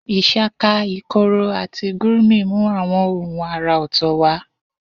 Ishaka, ikoro, àti gurmi mú àwọn ohùn àrà ọ̀tọ̀ wá.